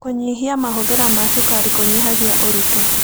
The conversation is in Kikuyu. Kũnyĩhĩa mahũthĩra ma cũkarĩ kũnyĩhagĩa ũrĩtũ